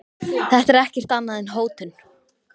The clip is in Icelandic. Þetta er ekkert annað en hótun.